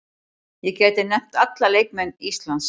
Ég gæti nefnt alla leikmenn Íslands.